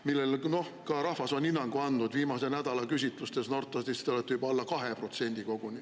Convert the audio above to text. –, millele ka rahvas on hinnangu andnud: Norstati viimase nädala küsitluste järgi on teie juba koguni alla 2%.